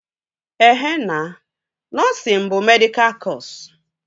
Ehe na, nọsịn bụ medịkal kọsu